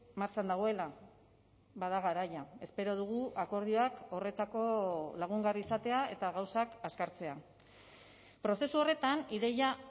martxan dagoela bada garaia espero dugu akordioak horretako lagungarri izatea eta gauzak azkartzea prozesu horretan ideia